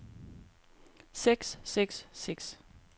seks seks seks